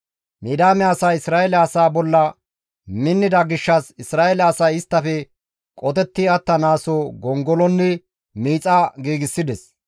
Midiyaame asay Isra7eele asaa bolla minnida gishshas Isra7eele asay isttafe qotetti attanaaso gongolonne miixa giigsides.